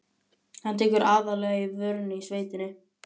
Hann tekur aðallega í vörina í sveitinni.